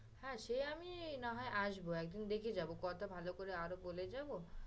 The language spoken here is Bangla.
হ্যাঁ সে আমি না হয় আসবো, একদিন দেখে যাবো কথা ভালো করে আরও বলে যাবো